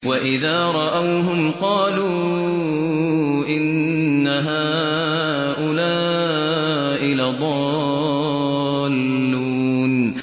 وَإِذَا رَأَوْهُمْ قَالُوا إِنَّ هَٰؤُلَاءِ لَضَالُّونَ